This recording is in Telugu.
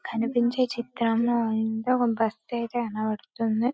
కనిపించ చిత్రంలో ఒక బస్సు అయితే కనపడుతుంది.